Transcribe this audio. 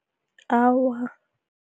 Awa.